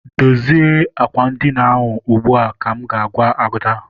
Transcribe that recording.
Dozie àkwà edina ahụ ugbua! ka m ga- agwa Ada.